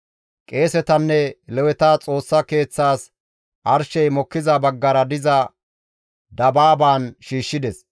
Qeesetanne Leweta Xoossa Keeththaas arshey mokkiza baggara diza dabaaban shiishshides.